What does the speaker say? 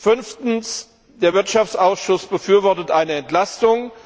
Fünftens Der Wirtschaftsausschuss befürwortet eine Entlastung.